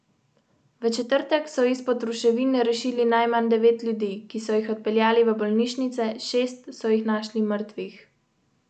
Ko pridem domov, skupaj naredimo kosilo, moja dva gresta vmes na sprehod s psom.